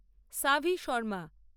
Savi Sharma